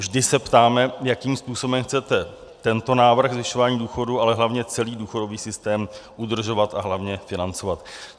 Vždy se ptáme, jakým způsobem chcete tento návrh zvyšování důchodů, ale hlavně celý důchodový systém udržovat a hlavně financovat.